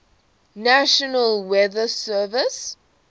national weather service